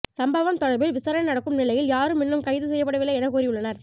சம்பவம் தொடர்பில் விசாரணை நடக்கும் நிலையில் யாரும் இன்னும் கைது செய்யப்படவில்லை என கூறியுள்ளனர்